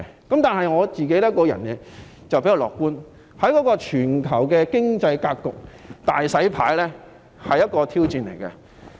然而，我比較樂觀，認為全球經濟格局"大洗牌"是一個挑戰。